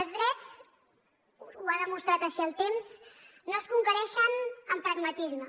els drets ho ha demostrat així el temps no es conquereixen amb pragmatisme